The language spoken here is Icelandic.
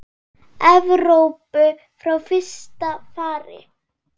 Evrópu frá fyrsta fari.